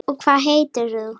Og hvað heitir þú?